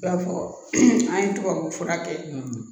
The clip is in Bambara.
I b'a fɔ an ye tubabu fura kɛ